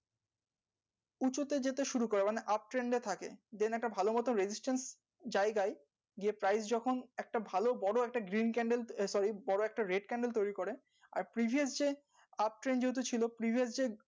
উঁচুতে যেতে শুরু করে মানে uptrend এ থাকে একটা ভালো মতো জায়গায় গিয়ে যখন একটা ভালো বড়ো একটা এ বোরো একটা তৈরি করে আর যে যেহেতু ছিল যে